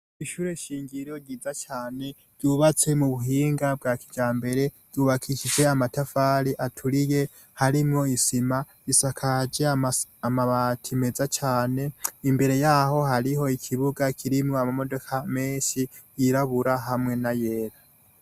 Ishure shingiro ryiza cane ryubatswe mu buhinga bwa kijambere. Ryubakishijwe amatafari aturiye harimwo n'isima. Isakaje amabati meza cane. Imbere y'aho, hariho ikibuga kirimwo ama modoka menshi yirabura, hamwe n'ayera.